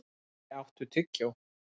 Manni, áttu tyggjó?